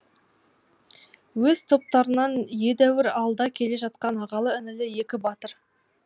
өз топтарынан едәуір алда келе жатқан ағалы інілі екі батыр